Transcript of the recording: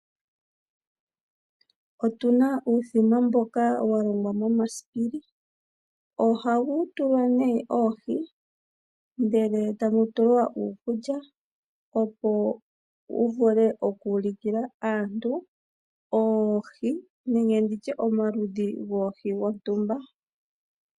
Otu na uuthima mboka wa longwa momasipili. Ohamu tulwa nee oohi e tamu tulwa uukulya, opo wu vule oku ulukila aantu oohi nenge omaludhi goohi dhontumba.